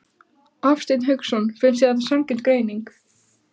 Hafsteinn Hauksson: Finnst þér þetta sanngjörn greining?